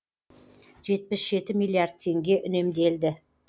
жетпіс жеті миллиард теңге үнемделді